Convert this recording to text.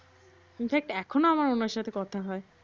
in fact এখনও আমার ওনার সাথে কথা হয়।